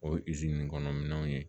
O ye kɔnɔ minɛnw ye